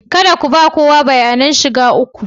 Kada ku ba kowa bayanan shiga ku